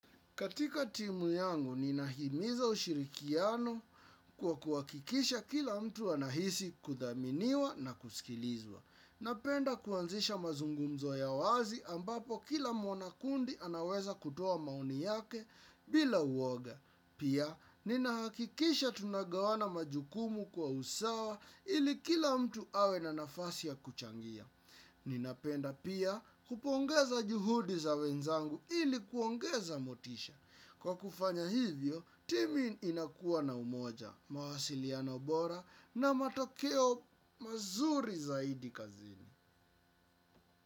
Katika timu yangu, ninahimiza ushirikiano kwa kuwakikisha kila mtu anahisi kuthaminiwa na kusikilizwa. Napenda kuanzisha mazungumzo ya wazi ambapo kila mwana kundi anaweza kutuwa maoni yake bila uoga. Pia, ninahakikisha tunagawana majukumu kwa usawa ili kila mtu awe na nafasi ya kuchangia. Ninapenda pia kupongeza juhudi za wenzangu ili kuongeza motisha. Kwa kufanya hivyo, timu inakuwa na umoja, mawasiliano bora na matokeo mazuri zaidi kazini.